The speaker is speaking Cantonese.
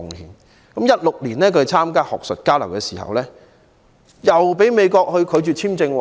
他在2016年參加學術交流時，被美國拒絕簽證。